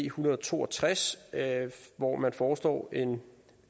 hundrede og to og tres hvor man foreslår en